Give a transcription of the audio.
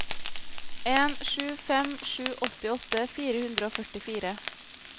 en sju fem sju åttiåtte fire hundre og førtifire